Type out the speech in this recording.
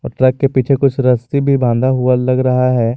Truck के पीछे कुछ रस्सी भी बांधा हुआ लग रहा है।